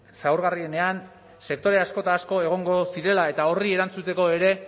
zaurgarrienean sektore asko eta asko egongo zirela eta horri erantzuteko ere